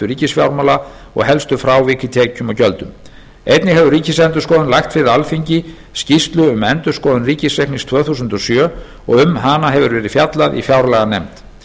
ríkisfjármálanna og helstu frávik í tekjum og gjöldum einnig hefur ríkisendurskoðun lagt fyrir alþingi skýrslu um endurskoðun ríkisreiknings tvö þúsund og sjö og um hana hefur verið fjallað í fjárlaganefnd